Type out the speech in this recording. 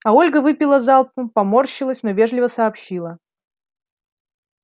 а ольга выпила залпом поморщилась но вежливо сообщила